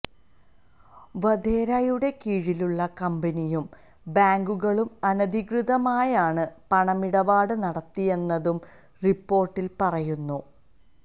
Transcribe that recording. വധേരയുടെ കീഴിലുള്ള കമ്പനിയും ബാങ്കുകളും അനധികൃതമായാണ് പണമിടപാട് നടത്തിയതെന്നും റിപ്പോര്ട്ടില് പറയുന്നു